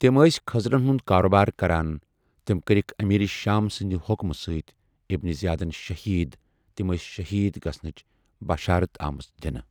تم اسی خضرن ہُنٛد کاروبار کران تم کرکھ امیر شام سند حکمہ سٟتؠ ابن زیادن شہید تم اسی شہید گژھنچ بشارت آمژ دنہ